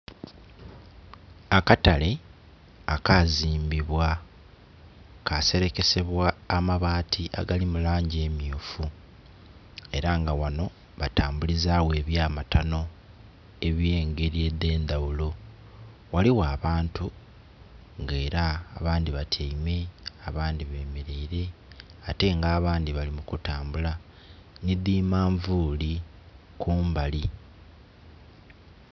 Akatale akazimbibwa ka serekesebwa amabaati agalimu langi emyufu era nga wano batambulizawo ebyamatano ebye ngeri edhe ndhaghulo. Waliwo abantu nga era abandi batyaime abandhi bemereire ate nga abandi bali kutambula ni di manvuli kumbali